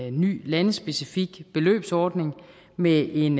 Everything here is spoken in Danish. en ny landespecifik beløbsordning med en